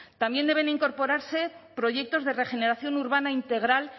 también deben incorporarse proyectos de regeneración urbana integral